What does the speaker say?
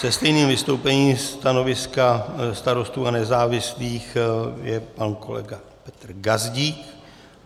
Se stejným vystoupením stanoviska Starostů a nezávislých je pan kolega Petr Gazdík.